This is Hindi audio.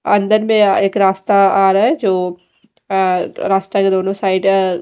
अंदर में एक रास्ता आ रहा है जो अह रास्ता के दोनों साइड --